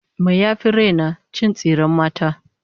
Me yafi raina? Cin tsiren mata